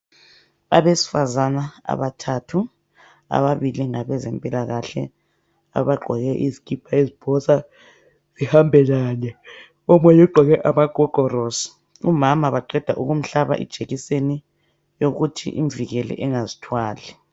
Abesifazana abathathu ababili ngabezempilakahle abagqoke izikhipha eziphosa ezihambelane omunye ugqoke amagogorosi umama baqeda kumhlaba ijekiseni yokuthi imvikele angazithwali.